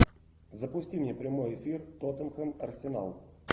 запусти мне прямой эфир тоттенхэм арсенал